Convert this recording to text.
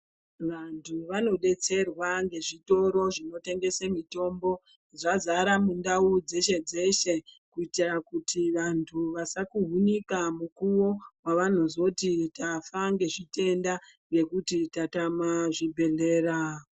Vantu vanodetserwa ngezvitoro zvinotengese mitombo. Zvazara mundau dzeshe-dzeshe , kuitira kuti vantu vasakuhunika mukuwo, wavanozoti tafa ngezvitenda, ngekuti tatama zvibhedhlera.